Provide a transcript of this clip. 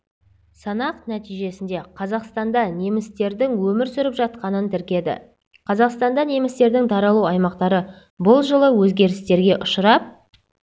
санақ нәтижесінде қазақстанда немістердің өмір сүріп жатқанын тіркеді қазақстанда немістердің таралу аймақтары бұл жылы өзгерістерге ұшырап